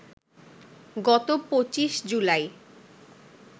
গত ২৫ জুলাই